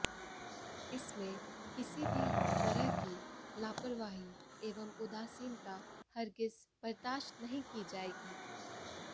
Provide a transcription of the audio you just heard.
इसमें किसी भी तरह की लापरवाही एवं उदासीनता हरगिज बर्दाश्त नहीं की जाएगी